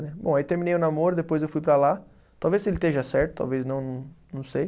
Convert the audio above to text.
Bom, aí terminei o namoro, depois eu fui para lá, talvez se ele esteja certo, talvez não, não sei.